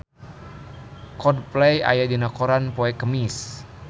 Coldplay aya dina koran poe Kemis